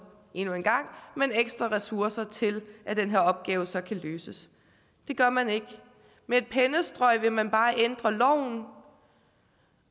endnu en gang men ekstra ressourcer til at den her opgave så kan løses det gør man ikke med et pennestrøg vil man bare ændre loven